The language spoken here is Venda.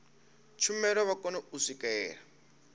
tshumelo vha kone u swikelela